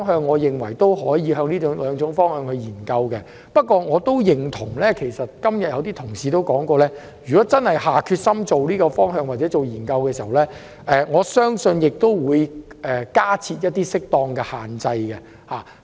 我認為可就這兩個方向進行研究，但正如有些同事所說，如果真的下決心朝這個方向進行研究，我相信有需要加設適當的限制。